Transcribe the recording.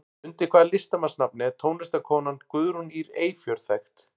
Undir hvaða listamannsnafni er tónlistarkonan Guðrún Ýr Eyfjörð þekkt?